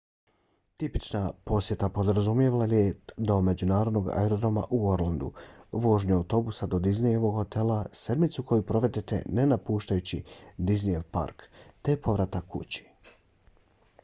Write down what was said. tipična posjeta podrazumijeva let do međunarodnog aerodroma u orlandu vožnju autobusom do disneyevog hotela sedmicu koju provedete ne napuštajući disneyev park te povratak kući